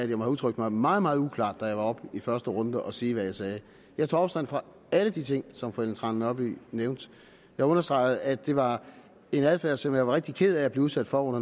have udtrykt mig meget meget uklart da jeg var oppe i første runde og sige hvad jeg sagde jeg tog afstand fra alle de ting som fru ellen trane nørby nævnte jeg understregede at det var en adfærd som jeg var rigtig ked af at blive udsat for under